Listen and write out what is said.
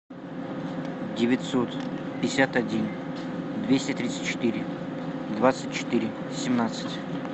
девятьсот пятьдесят один двести тридцать четыре двадцать четыре семнадцать